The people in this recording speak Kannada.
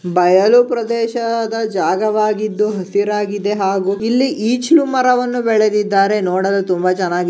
ಬಯಲು ಪ್ರದೇಶದ ಜಾಗವಾಗಿದ್ದು ಹಸಿರಾಗಿದೆ ಹಾಗು ಇಲ್ಲಿ ಈಚಿಲು ಮರವನ್ನು ಬೆಳೆದಿದ್ದಾರೆ ನೋಡಲು ತುಂಬಾ ಚನ್ನಾಗಿ --